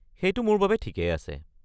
সেইটো মোৰ বাবে ঠিকেই আছে।